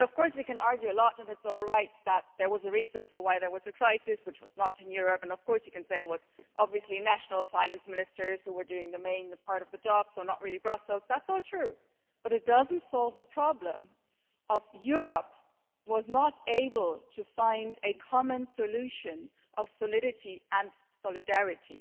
We can argue that it's all right because there was a reason why there was a crisis and it was not in Europe, and you can say it was obviously national finance ministers who were doing the main part of the job, so not really Brussels that's all true, but it doesn't solve the problem that Europe was not able to find a common solution of solidity and solidarity.